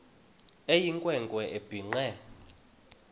eyinkwe nkwe ebhinqe